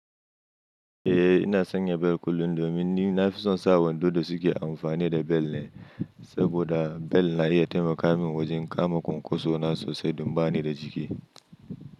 Eh ina sanya bel kullum domin ni na fi son sa wando da suke amfani da bel ne, saboda bel na iya taimaka min wajen kama konkosona sosai don ba ni da jiki.